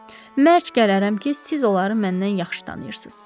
Mərk gələrəm ki, siz onları məndən yaxşı tanıyırsınız.